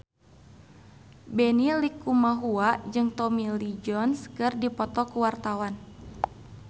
Benny Likumahua jeung Tommy Lee Jones keur dipoto ku wartawan